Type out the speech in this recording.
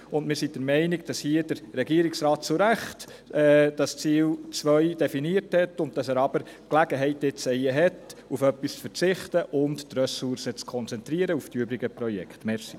Wir sind der Meinung, dass der Regierungsrat zu Recht das Ziel 2 definiert hat, und dass er nun die Gelegenheit erhält, auf etwas zu verzichten und die Ressourcen auf die übrigen Projekte zu konzentrieren.